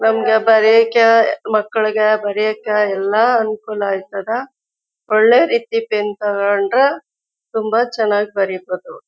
ನಮಗೆ ಬರಿಯಾಕ ಮಕ್ಕಳಿಗ ಬರಿಯೋಕ ಎಲ್ಲ ಅನುಕೊಲ ಆಯ್ತಧ ಒಳ್ಳೆ ರೀತಿ ಪೆನ್ ತಗೊಂಡ್ರು ತುಂಬಾ ಚನ್ನಾಗ್ ಬರೀಬಹುದು.